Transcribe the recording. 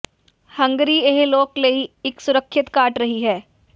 Hungary ਇਹ ਲੋਕ ਲਈ ਇੱਕ ਸੁਰੱਖਿਅਤ ਘਾਟ ਰਹੀ ਹੈ